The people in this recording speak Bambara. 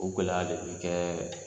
O gɛlɛya le bi kɛ